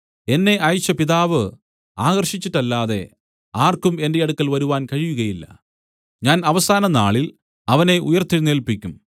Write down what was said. എന്നെ അയച്ച പിതാവ് ആകർഷിച്ചിട്ടല്ലാതെ ആർക്കും എന്റെ അടുക്കൽ വരുവാൻ കഴിയുകയില്ല ഞാൻ അവസാന നാളിൽ അവനെ ഉയിർത്തെഴുന്നേല്പിക്കും